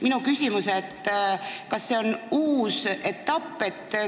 Minu küsimus: kas see on nüüd uus etapp?